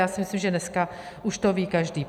Já si myslím, že dneska to ví už každý.